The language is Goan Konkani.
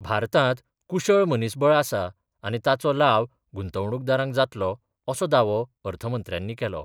भारतांत कुशळ मनीसबळ आसा, आनी ताचो लाव गुंतवणूकदारांक जातलो असो दावो अर्थ मंत्र्यानी केलो.